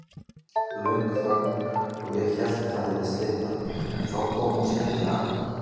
Löng þögn og ég hélt það hefði slitnað, en þá kom hún skyndilega aftur.